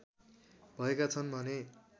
भएका छन् भने